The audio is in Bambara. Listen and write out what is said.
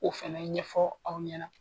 O fana ɲɛfɔ aw ɲɛna